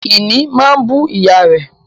Ìní máa bú ìyá rẹ̀